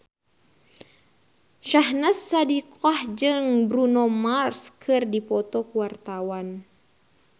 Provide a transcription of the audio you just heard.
Syahnaz Sadiqah jeung Bruno Mars keur dipoto ku wartawan